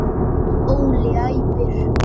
Óli æpir.